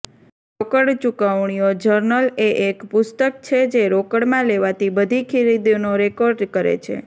રોકડ ચૂકવણીઓ જર્નલ એ એક પુસ્તક છે જે રોકડમાં લેવાતી બધી ખરીદીનો રેકોર્ડ કરે છે